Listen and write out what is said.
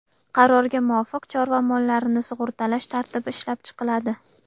Qarorga muvofiq, chorva mollarini sug‘urtalash tartibi ishlab chiqiladi.